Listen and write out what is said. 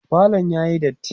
falon yayi datti